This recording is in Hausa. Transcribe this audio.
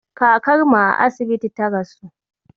kakarmu a asibiti ta rasu